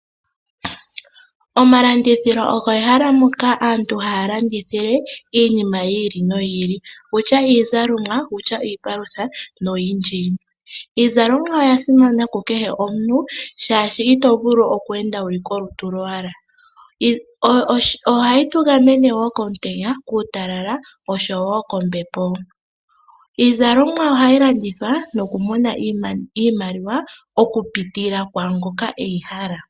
Omalandithilo olyo ehala mpoka aantu haya kandithile iinima yi ili noyi ili wutya iipalutha nenge iizalomwa. Iizalomwa oya simana ku kehe omuntu oshoka ito vulu okweenda wuli olutu kowala. Ohayi tu gamene wo kuutalala, kombepo oshowo komutenya. Ohayi landithwa nokumona iimaliwa okupitila kwaangoka eyi hala.